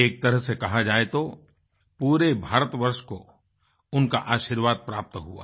एक तरह से कहा जाए तो पूरे भारतवर्ष को उनका आशीर्वाद प्राप्त हुआ